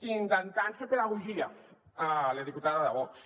i intentant fer pedagogia a la diputada de vox